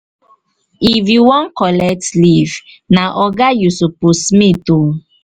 if you wan collect leave na oga you suppose meet o